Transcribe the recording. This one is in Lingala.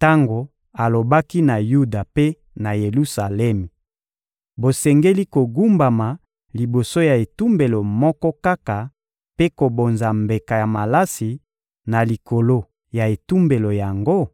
tango alobaki na Yuda mpe na Yelusalemi: ‹Bosengeli kogumbama liboso ya etumbelo moko kaka mpe kobonza mbeka ya malasi na likolo ya etumbelo yango?›